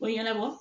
Ko ɲɛnabɔ